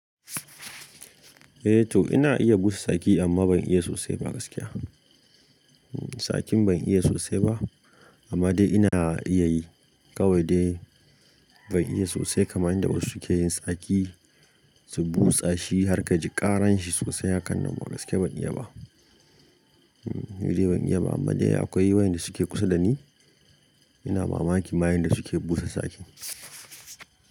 Eh to ina iya busa saki amma ban iya sosai ba gaskiya. Saki ban iya sosai ba amma dai ina iya yi. Kawai dai ban iya sosai kamar yanda wasu suke yin saki, su busa shi har ka ji ƙaran shi sosai, hakan nan gaskiya ban iya ba. Ban iya ba amma dai akwai wayanda suke kusa da ni, ina mamaki mayan da suke busa saki.